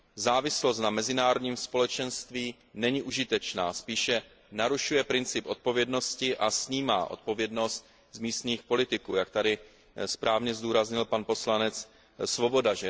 Závislost na mezinárodním společenství není užitečná, spíše narušuje princip odpovědnosti a snímá odpovědnost z místních politiků, jak tady správně zdůraznil pan poslanec Swoboda.